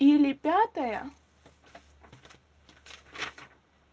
или пятое